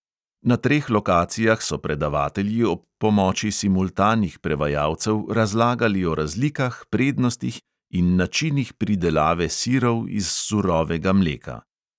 Na treh lokacijah so predavatelji ob pomoči simultanih prevajalcev razlagali o razlikah, prednostih in načinih pridelave sirov iz surovega mleka.